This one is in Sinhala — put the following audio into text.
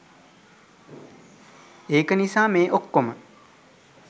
ඒක නිසා මේ ඔක්කොම